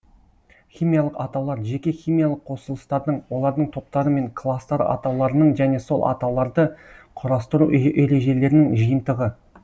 химиялық атаулар жеке химиялық қосылыстардың олардың топтары мен кластары атауларының және сол атауларды құрастыру ережелерінің жиынтығы